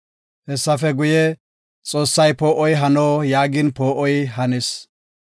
Hessafe guye, Xoossay, “Poo7oy hano” yaagin, poo7oy hanis.